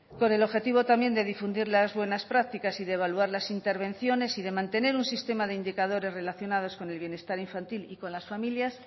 con el objetivo también de difundir las buenas prácticas y de evaluar las intervenciones y de mantener un sistema de indicadores relacionados con el bienestar infantil y con las familias